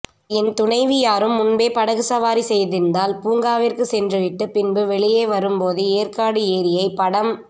என் துணைவியாரும் முன்பே படகு சவாரி செய்திருந்ததால் பூங்காவிற்கு சென்றுவிட்டு பின்பு வெளியே வரும்போது ஏற்காடு ஏரியை படம்